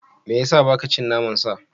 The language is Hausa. Me ya sa ba ka cin naman sa?